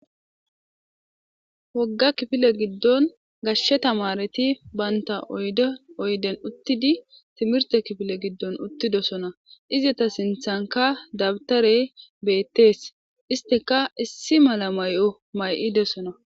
wogga kifile giddon gashshe tamareti baynta oyde oyden uttidi timirte kifile giddon uttidosona iza ta sinthanka dabtare beettees isteka issi mala may7o may7idesona